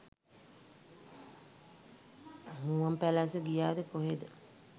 මුවන්පැලැස්ස ගියාද කොහෙද.